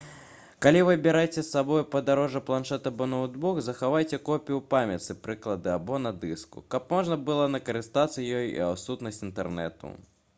калі вы бераце з сабой у падарожжа планшэт або ноўтбук захавайце копію ў памяці прылады або на дыску каб можна было скарыстацца ёй у адсутнасць інтэрнэту